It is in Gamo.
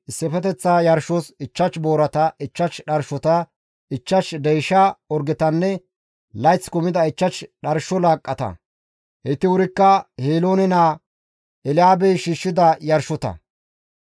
Issifeteththa yarshos 5 boorata, 5 dharshota, 5 deysha orgetanne layth kumida 5 dharsho laaqqata; heyti wuri Heloone naa Elyaabey shiishshida yarshota.